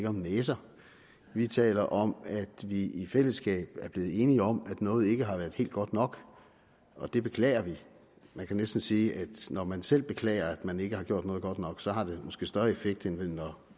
om næser vi taler om at vi i fællesskab er blevet enige om at noget ikke har været helt godt nok og det beklager vi man kan næsten sige at når man selv beklager at man ikke har gjort noget godt nok så har det måske større effekt end når